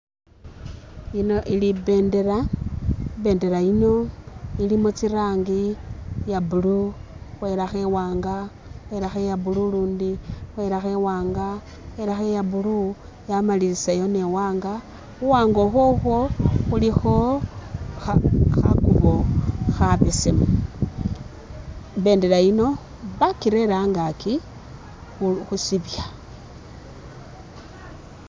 Yino ili i bendera, i bendera ilimo tsi rangi iya blue khwelakho iwanga khwelakho iya blue lundi khwelakho iwanga khwelakho iya blue yamalilisayo ni iwanga khu wanga ukhwokhwo khulikho khakubo khabesemu, i bendera yino bakirere angakyi khusibya.